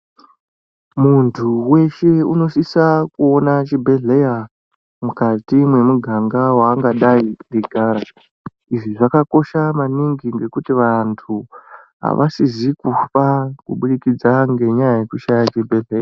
Muntu weshe unosisa kuona chibhedhleya mukati mwemiganga waangadai eigara. Izvi zvakakosha maningi ngekuti vantu aasizi kufa kubudikidza ngenyaya yekushaye chibhedhlera.